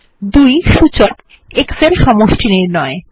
২ সূচক X এর সমষ্টিনির্ণয়